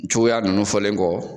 Cogoya ninnu fɔlen kɔ.